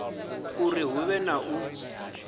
uri hu vhe na u